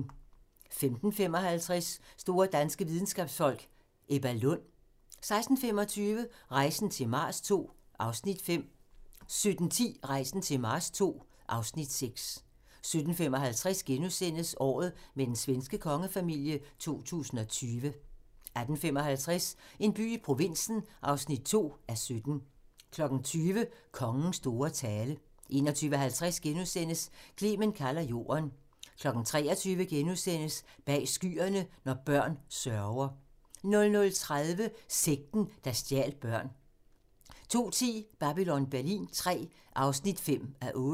15:55: Store danske videnskabsfolk: Ebba Lund 16:25: Rejsen til Mars II (Afs. 5) 17:10: Rejsen til Mars II (Afs. 6) 17:55: Året med den svenske kongefamilie 2020 * 18:55: En by i provinsen (2:17) 20:00: Kongens store tale 21:50: Clement kalder Jorden * 23:00: Bag skyerne – når børn sørger * 00:30: Sekten, der stjal børn 02:10: Babylon Berlin III (5:8)